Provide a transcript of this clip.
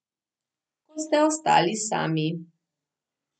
Ko ste ostali sami.